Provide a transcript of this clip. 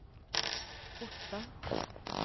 Otta